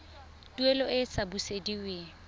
tuelo e e sa busediweng